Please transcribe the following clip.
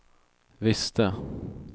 visste